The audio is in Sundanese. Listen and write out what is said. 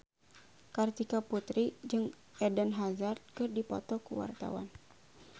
Kartika Putri jeung Eden Hazard keur dipoto ku wartawan